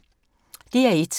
DR1